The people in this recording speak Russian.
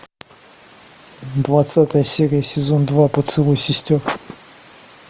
двадцатая серия сезон два поцелуй сестер